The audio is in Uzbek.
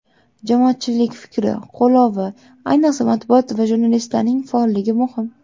Jamoatchilik fikri, qo‘llovi, ayniqsa, matbuot va jurnalistlarning faolligi muhim.